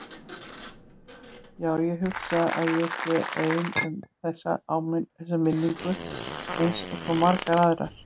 Já, ég hugsa að ég sé ein um þessa minningu einsog svo margar aðrar.